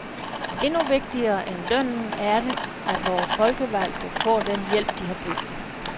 Endnu vigtigere end lønnen er det, at vore folkevalgte får den hjælp, de har brug for.